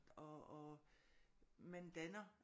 Og og man danner